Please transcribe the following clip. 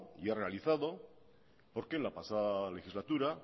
ya realizado porque en la pasada legislatura